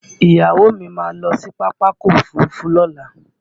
Ìyàwó mi máa lọ sí Pápákọ̀ Òfurufú Lọ́la